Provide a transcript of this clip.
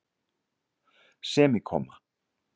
semíkomma